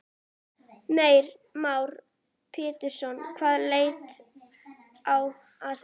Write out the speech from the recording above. Heimir Már Pétursson: Hvaða leið á að fara?